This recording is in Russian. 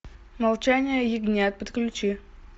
молчание ягнят подключи